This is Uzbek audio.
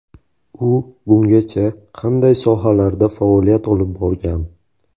U bungacha qanday sohalarda faoliyat olib borgan?.